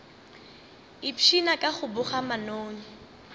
ipshina ka go boga manoni